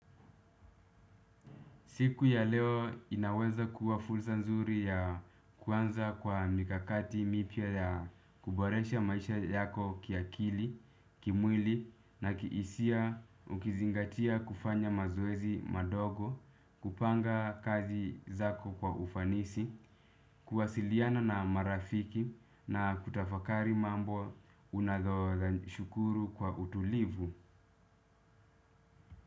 Siku ya leo inaweza kuwa fulsa nzuri ya kuanza kwa mikakati mipya ya kuboresha maisha yako kiakili, kimwili na kihisia ukizingatia kufanya mazoezi madogo, kupanga kazi zako kwa ufanisi, kuwasiliana na marafiki na kutafakari mambo unadhoza shukuru kwa utulivu.